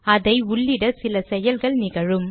அதை உள்ளிட சில செயல்கள் நிகழும்